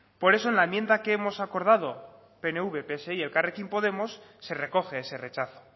por eso en la enmienda que hemos acordado pnv pse y elkarrekin podemos se recoge ese rechazo